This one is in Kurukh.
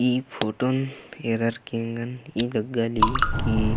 ई फोटोन ऐरार के ऐंग़न ई लग्गा ली की --